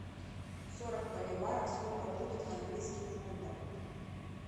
сорок боливаров сколько будет в английских фунтах